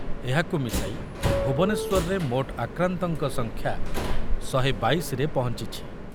ଏହାକୁ ମିଶାଇ ଭୁବନେଶ୍ୱରରେ ମୋଟ ଆକ୍ରାନ୍ତଙ୍କ ସଂଖ୍ୟା ଶହେ ବାଇଶରେ ପହଞ୍ଚିଛି ।